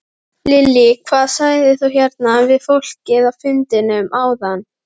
Lillý: Hvað sagðir þú hérna við fólkið á fundinum áðan?